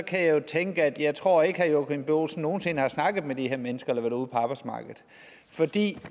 kan jeg jo tænke at jeg ikke tror at herre joachim b olsen nogen sinde har snakket med de her mennesker eller på arbejdsmarkedet